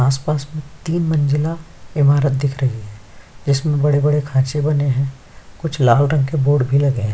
पास आप तीन मंजिला इमरात दिख रहा है जिसमे बड़े बड़े खाचे लगे हुए है कुछ लाल रंग के बोर्ड लगे है।